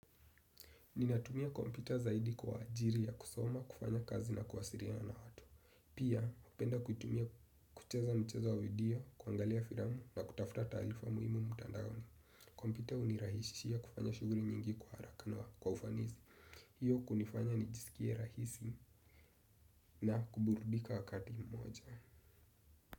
Ninatumia kompyuta zaidi kwa ajiri ya kusoma, kufanya kazi na kuwasiriana na watu. Pia, upenda kutumia kucheza michezo wa video, kuangalia firamu na kutafuta talifa muhimu mutandaoni. Kompyuta unirahisishia kufanya shuguri nyingi kwa haraka na kwa ufanizi. Hiyo kunifanya nijisikie rahisi na kuburudika wakati mmoja.